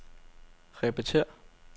repetér